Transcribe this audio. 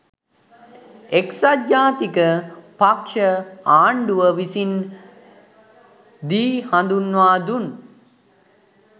එක්සත් ජාතික පක්‍ෂ ආණ්ඩුව විසින් දී හඳුන්වා දුන්